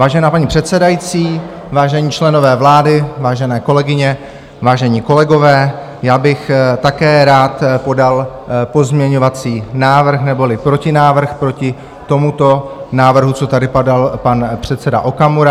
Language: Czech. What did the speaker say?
Vážená paní předsedající, vážení členové vlády, vážené kolegyně, vážení kolegové, já bych také rád podal pozměňovací návrh, neboli protinávrh proti tomuto návrhu, co tady podal pan předseda Okamura.